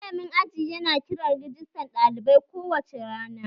Malamin aji yana kiran rajistan ɗalibai kowace rana